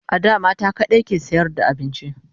a da mata kaɗai ke sayar da abinci